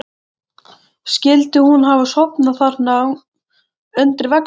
Skyldi hún hafa sofnað þarna undir veggnum?